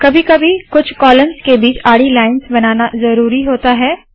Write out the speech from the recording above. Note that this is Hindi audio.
कभी कभी कुछ कॉलम्स के बीच आडी लाइन्स बनाना ज़रूरी होता है